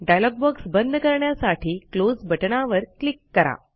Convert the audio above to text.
dialogue box बंद करण्यासाठी close बटणावर क्लिक करा